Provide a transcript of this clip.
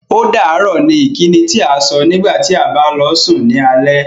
Ódàárọ̀ ìkíni tí à sọ̀ nígbàtí à bá lọ sùn ní ọlẹ̀.